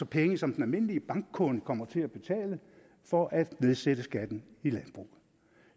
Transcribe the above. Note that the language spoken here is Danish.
penge som den almindelige bankkunde kommer til at betale for at nedsætte skatten i landbruget